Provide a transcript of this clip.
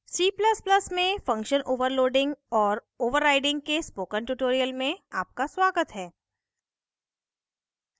c ++ में function overloading और overriding के spoken tutorial में आपका स्वागत है